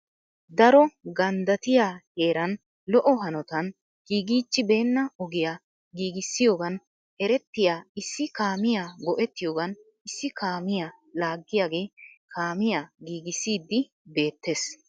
Daro ganddatiyaa heeran lo"o hanotan giigichchi beena ogiyaa giiggissiyoogan erettiya issi kaamiyaa go"ettiyoogan issi kaamiyaa laagiyaagee kaamiyaa giigissidi beettees .